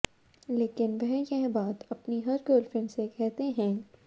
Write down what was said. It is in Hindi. लेकिन वह यह बात अपनी हर गर्लफ्रेंड से कहते हैं